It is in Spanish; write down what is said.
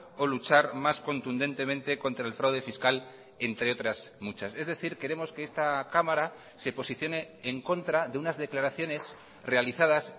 o luchar más contundentemente contra el fraude fiscal entre otras muchas es decir queremos que esta cámara se posicione en contra de unas declaraciones realizadas